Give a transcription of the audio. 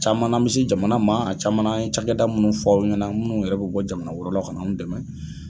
Camanna mɛ sin jamanama a camanna an ye cakɛda minnu fɔ aw ɲɛna minnu yɛrɛ bɛ bɔ jamana wɛrɛ la ka n'anw dɛmɛ.